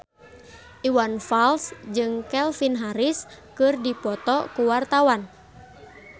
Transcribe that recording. Iwan Fals jeung Calvin Harris keur dipoto ku wartawan